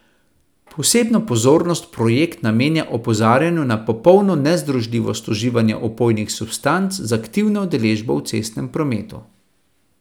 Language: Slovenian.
Posebno pozornost projekt namenja opozarjanju na popolno nezdružljivost uživanja opojnih substanc z aktivno udeležbo v cestnem prometu.